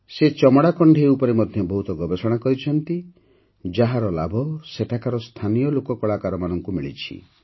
ସେ ଚମଡ଼ା କଣ୍ଢେଇ ଉପରେ ମଧ୍ୟ ବହୁତ ଗବେଷଣା କରିଛନ୍ତି ଯାହାର ଲାଭ ସେଠାକାର ସ୍ଥାନୀୟ ଲୋକକଳାକାରଙ୍କୁ ମିଳିଛି